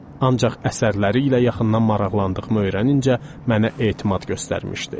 Ancaq əsərləri ilə yaxından maraqlandığımı öyrənincə mənə etimad göstərmişdi.